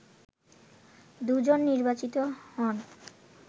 দুজন নির্বাচিত হন